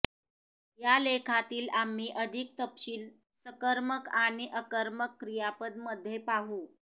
या लेखातील आम्ही अधिक तपशील सकर्मक आणि अकर्मक क्रियापद मध्ये पाहू